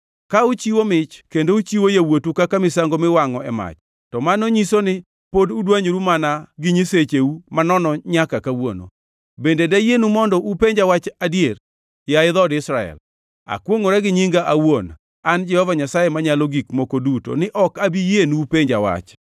Ka uchiwo mich kendo uchiwo yawuotu kaka misango miwangʼo e mach, to mano nyiso ni pod udwanyoru mana gi nyisecheu manono nyaka kawuono. Bende dayienu mondo upenja wach adier, yaye dhood Israel? Akwongʼora gi nyinga awuon, an Jehova Nyasaye Manyalo Gik Moko Duto ni ok abi yienu upenja wach.